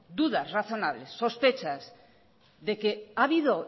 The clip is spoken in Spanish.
dudas razonables sospechas de que ha habido